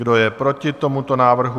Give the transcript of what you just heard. Kdo je proti tomuto návrhu?